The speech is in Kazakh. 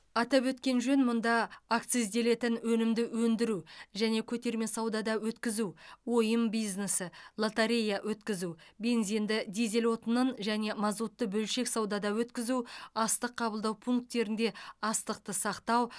атап өткен жөн мұнда акцизделетін өнімді өндіру және көтерме саудада өткізу ойын бизнесі лотерея өткізу бензинді дизель отынын және мазутты бөлшек саудада өткізу астық қабылдау пункттерінде астықты сақтау